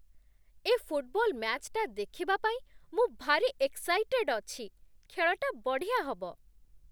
ଏ football ମ୍ୟାଚ୍ଟା ଦେଖିବା ପାଇଁ ମୁଁ ଭାରି ଏକ୍ସାଇଟେଡ୍ ଅଛି! ଖେଳଟା ବଢ଼ିଆ ହବ ।